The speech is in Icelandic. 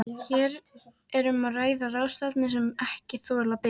Hér er um að ræða ráðstafanir sem ekki þola bið.